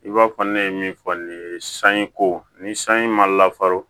I b'a fɔ ne ye min fɔ nin ye sanji ko ni sanji ma lafaron